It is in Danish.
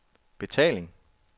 betaling